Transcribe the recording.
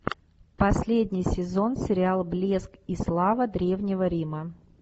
последний сезон сериала блеск и слава древнего рима